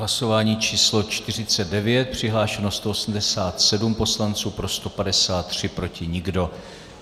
Hlasování číslo 49, přihlášeno 187 poslanců, pro 153, proti nikdo.